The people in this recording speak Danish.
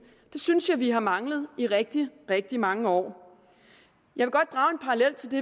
det synes jeg vi har manglet i rigtig rigtig mange år jeg